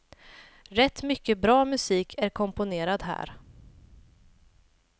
Rätt mycket bra musik är komponerad här.